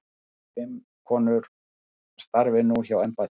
Fimm konur starfi nú hjá embættinu.